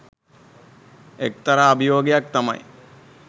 එක්තරා අභියෝගයක් තමයි.